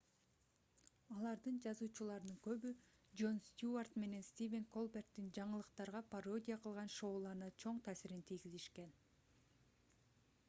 алардын жазуучуларынын көбү джон стюарт менен стивен колберттин жаңылыктарга пародия кылган шоуларына чоң таасирин тийгизишкен